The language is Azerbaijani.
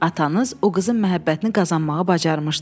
Atanız o qızın məhəbbətini qazanmağı bacarmışdı.